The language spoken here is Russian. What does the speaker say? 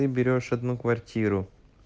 ты берёшь одну квартиру